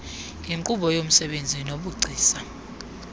yinkqubo yomsebenzi nobugcisa